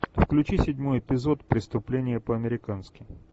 включи седьмой эпизод преступление по американски